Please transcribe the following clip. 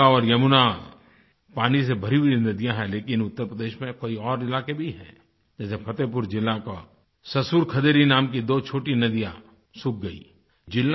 गंगा और यमुना पानी से भरी हुई नदियाँ हैं लेकिन उत्तर प्रदेश में कई और इलाके भी हैं जैसे फतेहपुर ज़िला का ससुर खदेरी नाम की दो छोटी नदियाँ सूख गयीं